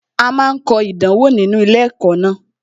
A máa kọ ìdánwò nínú ilé ẹ̀kọ́ ńlá